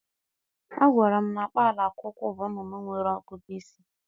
A gwara m na kpalakwukwu bụ nnụnụ nwere ọgụgụ isi.